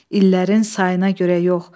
İllərin sayına görə yox.